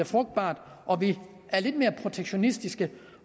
frugtbart og vi er lidt mere protektionistiske